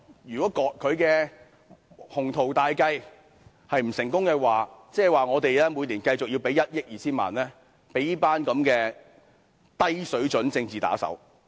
如果她的鴻圖大計不成功，我們便須每年繼續支付1億 2,000 萬元予這一群低水準的政治打手。